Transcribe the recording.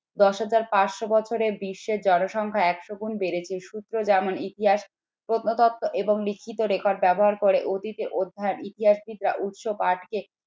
দশ হাজার পাঁচশ বছরে বিশ্বের জনসংখ্যা একশো গুন বেড়েছে সূত্র যেমন ইতিহাস প্রত্নতত্ত্ব এবং লিখিত record ব্যবহার করে অতীতে অধ্যয়ন ইতিহাসবিদরা উৎস পাঠ কে